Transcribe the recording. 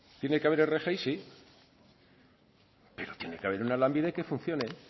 tiene que haber rgi sí pero tiene que haber una lanbide que funcione